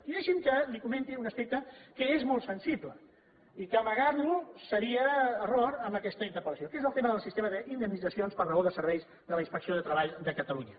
i deixi’m que li comenti un aspecte que és molt sensible i que amagar lo seria error en aquesta interpellació que és el tema del sistema d’indemnitzacions per raó de serveis de la inspecció de treball de catalunya